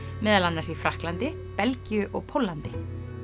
meðal annars í Frakklandi Belgíu og Póllandi